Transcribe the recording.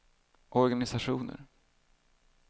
organisationer